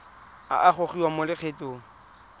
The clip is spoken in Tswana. a a gogiwang mo lokgethong